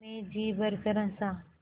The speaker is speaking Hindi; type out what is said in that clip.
मैं जी भरकर हँसा